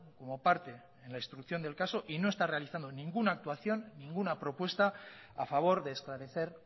como parte en la instrucción del caso y no está realizando ninguna actuación ninguna propuesta a favor de esclarecer